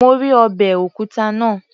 Mo rí ọbẹ̀ òkúta náà